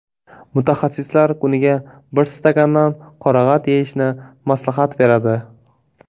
Mutaxassislar kuniga bir stakandan qorag‘at yeyishni maslahat beradi.